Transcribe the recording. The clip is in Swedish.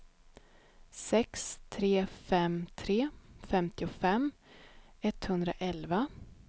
sex tre fem tre femtiofem etthundraelva